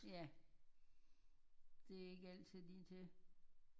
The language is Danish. Ja det er ikke altid lige til